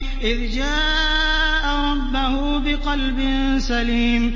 إِذْ جَاءَ رَبَّهُ بِقَلْبٍ سَلِيمٍ